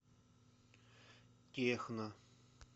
техно